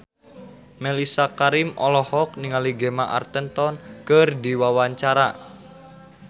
Mellisa Karim olohok ningali Gemma Arterton keur diwawancara